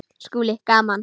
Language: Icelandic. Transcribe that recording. SKÚLI: Gaman!